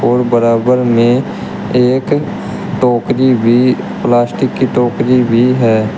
बराबर में एक टोकरी भी प्लास्टिक की टोकरी भी है।